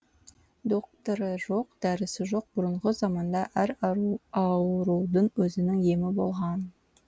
доқтыры жоқ дәрісі жоқ бұрынғы заманда әр аурудың өзінің емі болған